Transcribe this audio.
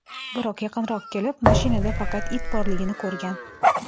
Biroq yaqinroq kelib, mashinada faqat it borligini ko‘rgan.